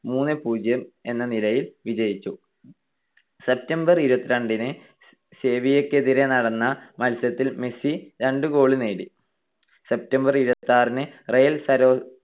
മൂന്ന് - പൂജ്യം എന്ന നിലയിൽ വിജയിച്ചു. September ഇരുപത്തിരണ്ടിനു സെവിയ്യക്കെതിരായി നടന്ന മത്സരത്തിൽ മെസ്സി രണ്ട് goal നേടി. September ഇരുപത്തിയാറിന്ന് റയൽ സര